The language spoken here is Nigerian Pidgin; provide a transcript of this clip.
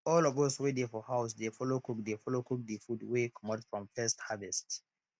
all of us wey dey for house dey follow cook dey follow cook de food wey comot from first harvest